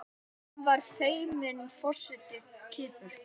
Hann var fimmti forseti Kýpur.